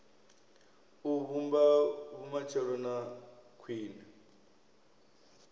u vhumba vhumatshelo ha khwine